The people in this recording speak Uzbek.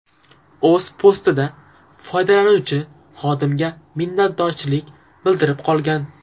O‘z postida foydalanuvchi xodimga minnatdorchilik bildirib qolgan.